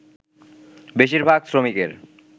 বেশিরভাগ শ্রমিকের